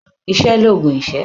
Iṣẹ́ l'oògùn ìṣẹ́.